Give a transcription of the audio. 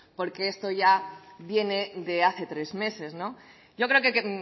porque esto ya viene de hace tres meses yo creo que